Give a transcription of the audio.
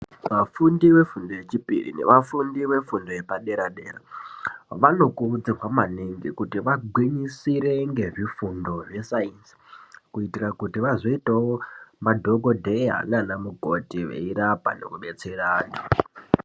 Vafundi vefundo yechipiri nevafundi vefundo yepaderadera, vanokurudzigwa maningi kuti vagwinisire ngezvifundo zve "Science" kuitira kuti vazoitawo madhokodheya nanamugodi veyirapa nokubetserana.